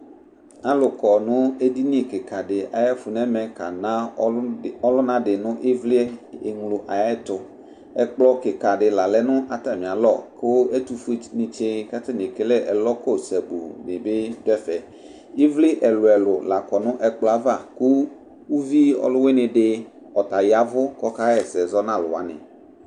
Alʋ kɔ nʋ edini kɩkadɩ ayɛfʋ nɛ mɛ kana ɔlʋnadɩ nʋ ɩvlɩ eŋlo ayɛtʋ Ɛkplɔ kɩkadɩ la lɛ nʋ atamɩ alo kʋ ɛtʋfue dɩnɩ tsɩ katanɩ ekele ɛlɔ kɔ sabuunɩ bɩ dʋ ɛfɛ ɩvlɩ ɛlʋ ɛlʋ lakɔ nʋ ɛkplɔ yɛ ava kʋ uviɔlʋwɩnɩdɩ ɔta yavʋ k'ɔka ɣɛsɛ zɔ n'alʋwanɩ